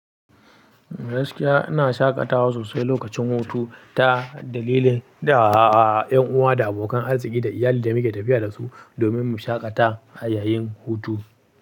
Gaskiya ina shaƙatawa sosai lokacin hutu, ta dalilin da a a a 'yan uwa da abokan arziki da iyali da muke tafiya da su domin mu shaƙata yayin hutu.